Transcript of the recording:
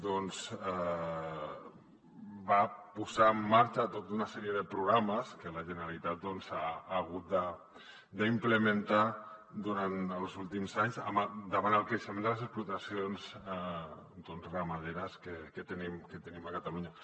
doncs va posar en marxa tota una sèrie de programes que la generalitat ha hagut d’implementar durant els últims anys davant el creixement de les explotacions ramaderes que tenim a catalunya